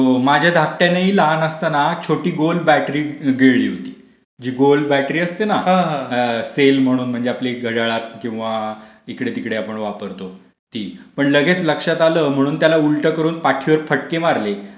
हो, माझ्या धाकट्यानेही लहान असताना छोटी गोल बॅटरी गिळली होती. जी गोल बॅटरी असते ना सेल म्हणून आपल्याला घड्याळाला किंवा इकडे तिकडे आपण वापरतो ती, पण लगेच लक्षात आलं म्हणून त्याला उलटा करून पाठीवर फटके मारले,